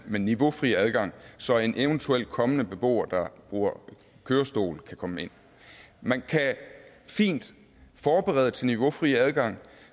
med niveaufri adgang så en eventuel kommende beboer der bruger kørestol kan komme ind man kan fint forberede til niveaufri adgang